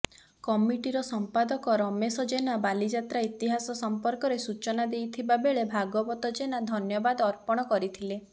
କମିଟିର ସମ୍ପାଦକ ରମେଶ ଯେନା ବାଲିଯାତ୍ରା ଇତିହାସ ସମ୍ପର୍କରେ ସୂଚନା ଦେଇଥିବାବେଳେ ଭାଗବତ ଯେନାଧନ୍ୟବାଦ ଅର୍ପଣ କରିଥିଲେ